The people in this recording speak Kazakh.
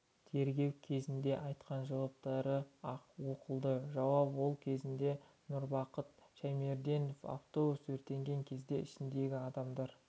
тергеу кезінде айтқан жауаптары оқылды жауап алу кезінде нұрбақыт шаймерденов автобус өртенген кезде ішіндегі адамдар